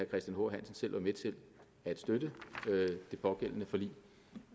christian h hansen selv var med til at støtte det pågældende forlig